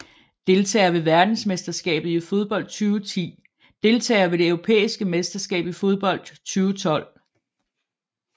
Deltagere ved verdensmesterskabet i fodbold 2010 Deltagere ved det europæiske mesterskab i fodbold 2012